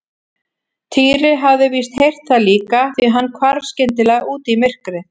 Týri hafði víst heyrt það líka því hann hvarf skyndilega út í myrkrið.